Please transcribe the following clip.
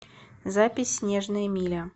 запись снежная миля